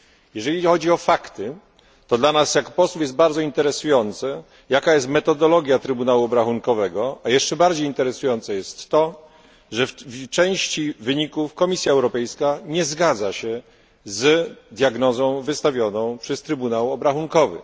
Jeżeli chodzi o fakty, to dla nas jako posłów jest bardzo interesujące, jaka jest metodologia Trybunału Obrachunkowego, a jeszcze bardziej interesujące jest to, że w części wyników Komisja Europejska nie zgadza się z diagnozą wystawioną przez Trybunał Obrachunkowy.